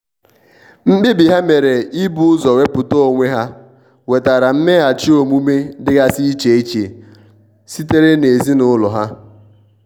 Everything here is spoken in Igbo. mkpebi ha mere ibu ụzọ wepụta onwe ha nwetara mmeghachi omume dịgasi iche iche sitere n'ezinụlọ ha.